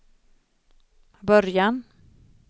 början